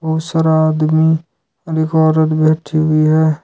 बहुत सारा आदमी और एक औरत बैठी हुई है।